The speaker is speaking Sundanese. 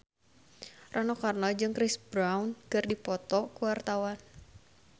Rano Karno jeung Chris Brown keur dipoto ku wartawan